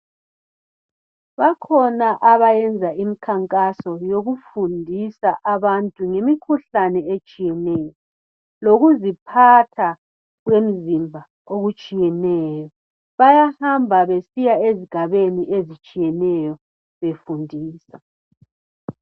Bakhona abenza imikhankaso yokufundisa ngemikhuhlane etshiyeneyo lokuziphatha kwemzimba okutshiyeneyo. Bayahamba besiya esigabeni ezitshiyeneyo befundisa.